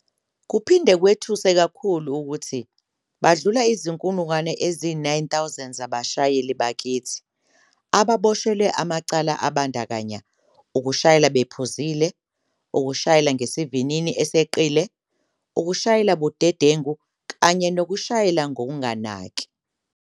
Kuphinde kwethuse kakhulu ukuthi badlula izinkulungwane eziyi-9000 zabashayeli bakithi ababoshelwe amacala abandakanya ukushayela uphuzile, ukushayela ngesivinini eseqile, ukushayela budedengu kanye nokushayela ngokunganaki.